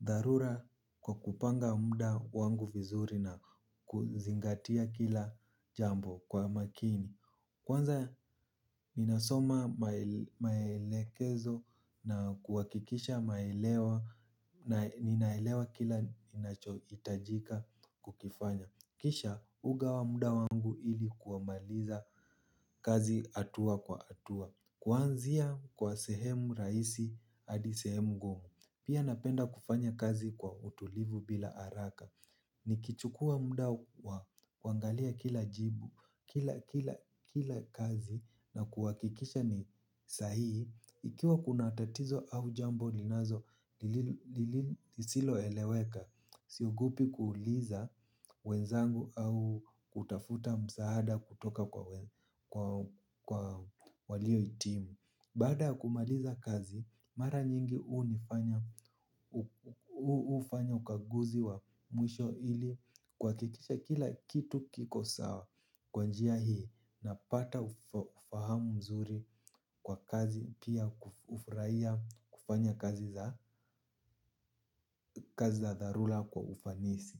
dharura kwa kupanga mda wangu vizuri na kuzingatia kila jambo kwa makini. Kwanza minasoma maelekezo na kuwakikisha maelewa na ninaelewa kila inacho itajika kukifanya. Kisha ugawa mda wangu ili kuamaliza kazi atua kwa atua. Kwaanzia kwa sehemu raisi adi sehemu ngumu. Pia napenda kufanya kazi kwa utulivu bila araka. Nikichukua mda wa kwangalia kila jibu, kila kazi na kuwakikisha ni sahii. Ikiwa kuna tatizo au jambo linazo, siloeleweka. Siogopi kuuliza wenzangu au kutafuta msaada kutoka kwa walio itimu. Bada kumaliza kazi, mara nyingi ufanya ukaguzi wa mwisho ili kwa kikisha kila kitu kiko sawa kwa njia hii napata ufahamu mzuri kwa kazi pia ufuraia kufanya kazi za dharula kwa ufanisi.